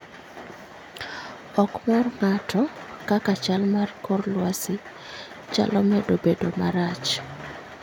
Ok mor ng'ato kaka chal mar kor lwasi chalo medo bedo marach